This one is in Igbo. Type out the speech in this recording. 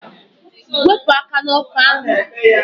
Wepụ aka n'ọkụ ahụ!